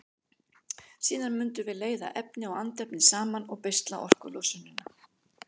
Síðan mundum við leiða efni og andefni saman og beisla orkulosunina.